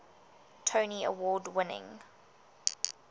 tony award winning